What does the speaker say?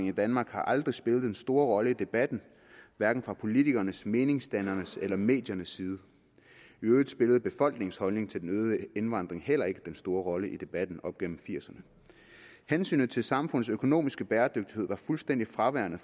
i danmark har aldrig spillet den store rolle i debatten hverken fra politikernes meningsdannernes eller mediernes side i øvrigt spillede befolkningens holdning til den øgede indvandring heller ikke den store rolle i debatten op gennem nitten firserne hensynet til samfundets økonomiske bæredygtighed var fuldstændig fraværende